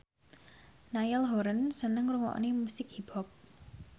Niall Horran seneng ngrungokne musik hip hop